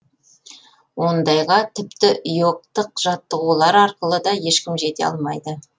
ондайға тіпті йогтық жаттығулар арқылы да ешкім жете алмайды